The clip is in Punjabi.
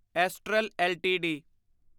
astral LTD